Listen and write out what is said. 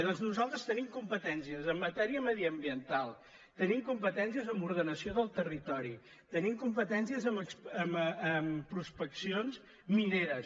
doncs nosaltres tenim competències en matèria mediambiental tenim competències en ordenació del territori tenim competències en prospeccions mineres